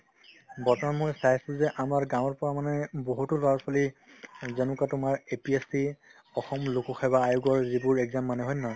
বৰ্তমান মই চাইছো যে আমাৰ গাঁৱৰ পৰা মানে বহুতো ল'ৰা-ছোৱালী যেনেকুৱা তোমাৰ APSC অসম লোকসেৱা আয়োগৰ যিবোৰ exam মানে হয় নে নহয়